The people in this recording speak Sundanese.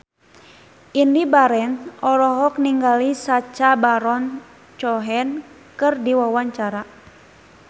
Indy Barens olohok ningali Sacha Baron Cohen keur diwawancara